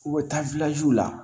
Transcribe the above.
U bɛ taa la